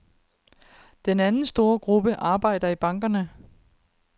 Den anden store gruppe arbejder i bankerne.